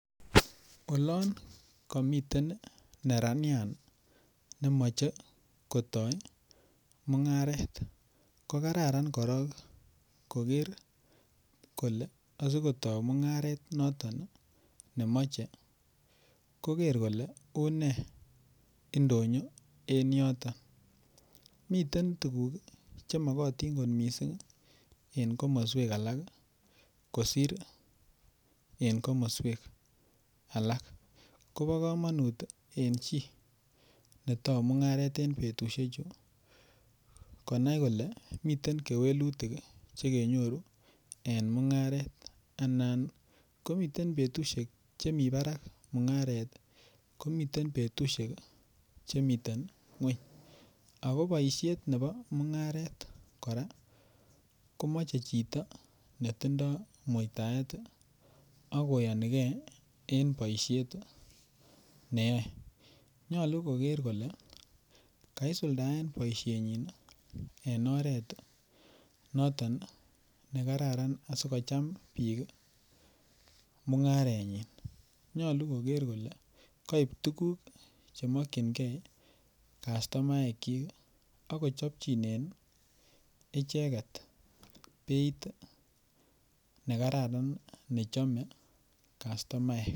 olon komiten neranyaat nemoche kotooi mungareet kogararan koroon kogeer kole asigotoo mungaret noton iih nemoche, kogeer kole unee indonyo en yoton, miten tuguuk iih chemogotin kot mising en komosweek alak kosiir en komosweek alak, kobokomonuut en chi netouu mungareet en betushek chu konai kole miten kewelutik chegenyoru en mungareet, anan komiten betushnek chemii baraak mungareet ko miten betushek chemiten ngweny, ago boishet nebo mungareet koraa komoche chito netindooi muitaet iiih ak koyonigee en boishet neyoe, nyollu kogeer kole kaisuldaen boishet nyiin iih en oreet noton negararan asigocham biik iih mungareet nyiin, nyolu kogeer kole kaib tuguk chemokyingee kastomaek kyiik ak kochopchinen icheget beeit negararan nechome kastomaek.